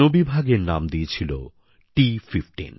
বন বিভাগ এর নাম দিয়েছিল T15